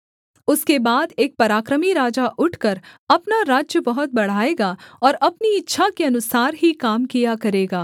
उसके बाद एक पराक्रमी राजा उठकर अपना राज्य बहुत बढ़ाएगा और अपनी इच्छा के अनुसार ही काम किया करेगा